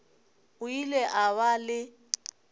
o ile a ba le